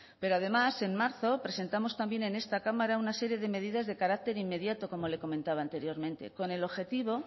pero además en marzo presentamos también en esta cámara una serie de medidas de carácter inmediato como le comentaba anteriormente con el objetivo